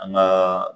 An ka